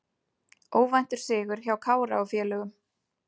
Óvæntur sigur hjá Kára og félögum